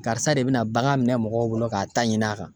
Karisa de bina bagan minɛ mɔgɔw bolo k'a ta ɲini a kan.